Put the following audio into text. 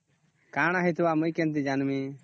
କଣ ହେଇଥିବ ମୁ କେମିତି ଜାଣିବି